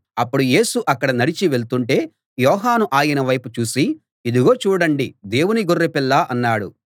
అప్పుడు యేసు అక్కడ నడిచి వెళ్తుంటే యోహాను ఆయన వైపు చూసి ఇదిగో చూడండి దేవుని గొర్రెపిల్ల అన్నాడు